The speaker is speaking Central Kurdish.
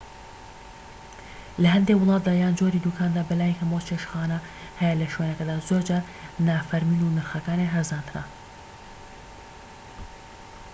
لە هەندێك وڵاتدا یان جۆری دوکاندا بەلای کەمەوە چێشتخانە هەیە لە شوێنەکەدا زۆرجار نافەرمین و نرخەکانیان هەرزانترە